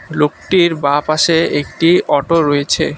লোকটির বাঁ পাশে একটি অটো রয়েছে।